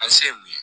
An se mun ye